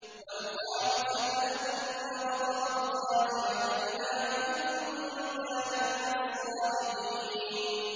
وَالْخَامِسَةَ أَنَّ غَضَبَ اللَّهِ عَلَيْهَا إِن كَانَ مِنَ الصَّادِقِينَ